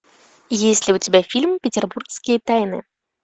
есть ли у тебя фильм петербургские тайны